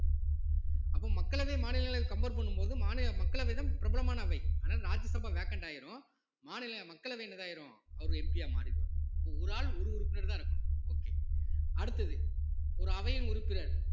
அப்போ மக்களவை மாநிலங்களவை compare பண்ணும் போது மாநில மக்களவைதான் பிரபலமான அவை அதனால் ராஜ்யசபா vacant ஆயிரும் மாநில மக்களவை என்னதாயிரும் அவரு MP ஆ மாறிடுவாரு அப்போ ஒரு ஆளு ஒரு உறுப்பினர்தான் இருக்கணும் okay அடுத்தது ஒரு அவையின் உறுப்பினர்